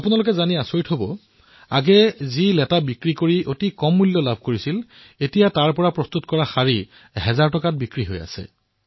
আপোনালোকে জানি আচৰিত হব যে প্ৰথমে কুকুন বিক্ৰী কৰি যি সামান্য দাম লাভ কৰিছিল আজি তাৰে পৰা প্ৰস্তুত শাৰী বিক্ৰী কৰি হাজাৰ টকা লাভ কৰিছে